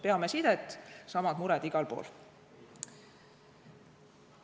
Peame sidet, samad mured on igal pool.